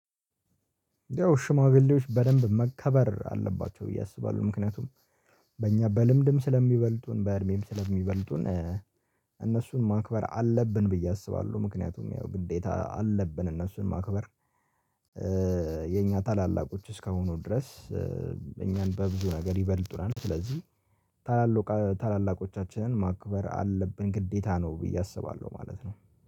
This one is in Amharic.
ያው ሽማግሌዎች በደንብ መከበር አለባቸው ብዬ አስባለሁ ምክንያቱም በእኛ በልምድም ስለሚበልጡን በእድሜም ስለሚበልጡን እነሱን ማክበር አለብን ብዬ አስባለሁ ምክንያቱም ያው ግዴታ አለብን እነሱን ማክበር። የኛ ታላላቆች እስከሆኑ ድረስ እኛን በብዙ ነገር ይበልጡናል ስለዚህ ታላላቆቻችንን ማክብር አለብን ግዴታ ነው ብዬ አስባለሁ ማለት ነው